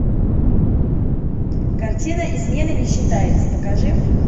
картина изменой не считается покажи